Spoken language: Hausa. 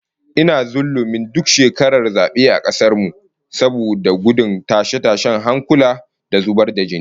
Ina zullumin duk shekaran zabe a kasar mu, saboda gudun tashe-tashen hankula da zubar da jini